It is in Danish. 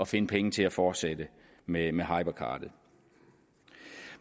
finde penge til at fortsætte med med hypercardet